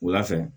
Wula fɛ